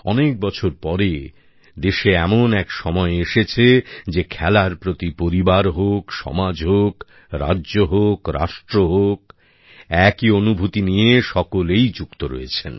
অনেক বছর পরে দেশে এমন এক সময় এসেছে যে খেলার প্রতি পরিবার হোক সমাজ হোক রাজ্য হোক রাষ্ট্র হোক একই অনুভূতি নিয়ে সকলেই যুক্ত রয়েছেন